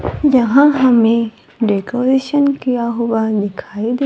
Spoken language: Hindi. यहां हमे डेकोरेशन किया हुआ दिखाई दे--